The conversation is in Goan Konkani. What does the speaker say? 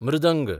मृदंग মৃদঙ্গ